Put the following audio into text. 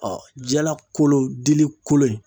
jala kolo dili kolon in